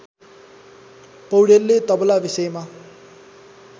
पौडेलले तबला विषयमा